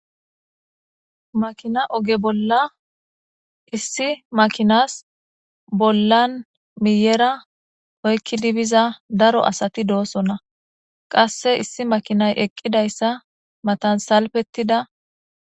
Makina oge bola issi makinas bolan miyera oyikidi biza daro asati deosona qase issi makinay eqidayisa matan salifetida.